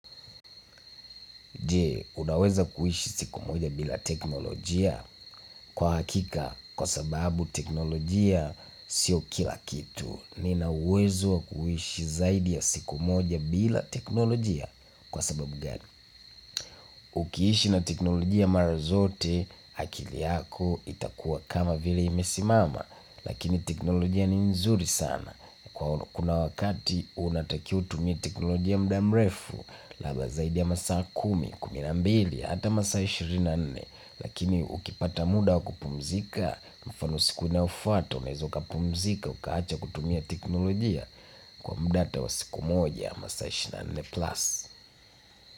Je, unaweza kuishi siku moja bila teknolojia? Kwa hakika kwa sababu teknolojia sio kila kitu. Nina uwezo wa kuishi zaidi ya siku moja bila teknolojia kwa sababu gani. Ukiishi na teknolojia mara zote, akili yako itakuwa kama vile imesimama, lakini teknolojia ni nzuri sana. Kuna wakati, unatakiwa utumie teknolojia muda mrefu, labda zaidi ya masaa kumi, kumi na mbili, ata masaa ishirini na nne, lakini ukipata muda wakupumzika, mfano siku unaofwata, unaweza ukapumzika, ukaacha kutumia teknolojia kwa muda ata wa siku moja, masaa ishirini na nne plus.